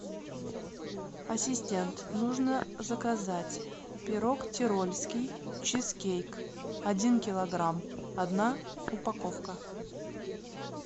ассистент нужно заказать пирог тирольский чизкейк один килограмм одна упаковка